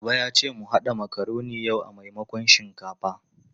Baba ya ce mu haɗa makaroni yau a maimakon shinkafa.